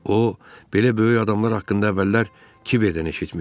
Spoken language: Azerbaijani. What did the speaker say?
O belə böyük adamlar haqqında əvvəllər kiverdən eşitmişdi.